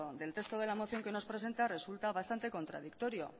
del texto de la moción que nos presenta resulta bastante contradictorio